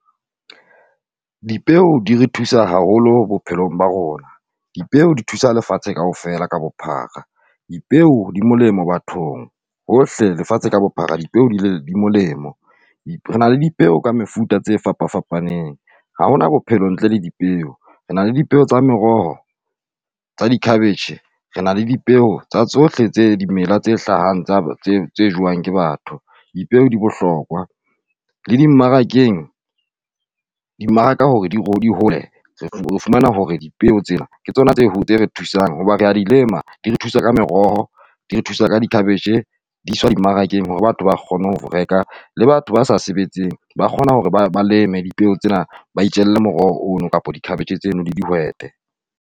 Dipeo di re thusa haholo bophelong ba rona. Dipeo di thusa lefatshe kaofela ka bophara. Dipeo di molemo bathong hohle lefatshe ka bophara di molemo. Re na dipeo ka mefuta tse fapafapaneng, ha hona bophelo ntle le dipeo, re na le dipeo tsa meroho tsa di cabbage. Re na le dipeo tsa tsohle tse dimela tse hlahang tse jewang ke batho. Dipeo di bohlokwa le dimmarakeng, dimmaraka hore di di hole o fumana hore dipeo tsena ke tsona tse re thusang ho ba re a di lema. Di thusa ka meroho di thusa ka di-cabbage. Di iswa dimmarakeng hore batho ba kgone ho reka. Le batho ba sa sebetseng ba kgona ho re ba leme dipeo tsena ba itjelle moroho oo kapa di-cabbage tseno le dihwete.